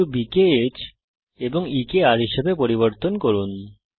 বস্তু b কে h এ এবং e কে r এ পরিবর্তন করুন